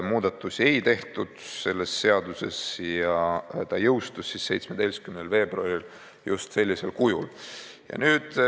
Muudatusi ei tehtud ja seadus jõustus 17. veebruaril just sellisel kujul.